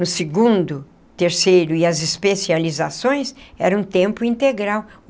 No segundo, terceiro e as especializações, era um tempo integral.